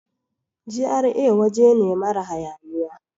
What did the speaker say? GRA waje ne mara hayaniya.